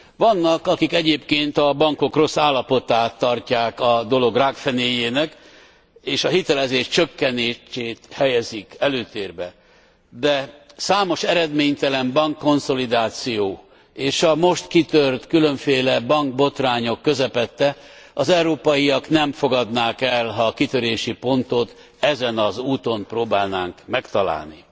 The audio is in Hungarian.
Vannak, akik egyébként a bankok rossz állapotát tarják a dolog rákfenéjének, és a hitelezés csökkenését helyezik előtérbe, de számos eredménytelen bankkonszolidáció és a most kitört különféle bankbotrányok közepette az európaiak nem fogadnák el, ha a kitörési pontot ezen a ponton próbálnánk megtalálni.